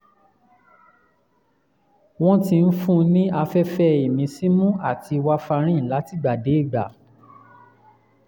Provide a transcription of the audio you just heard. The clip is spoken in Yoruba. wọ́n ti ń fún mi ní afẹ́fẹ́ ìmísínú àti warfarin látìgbàdégbà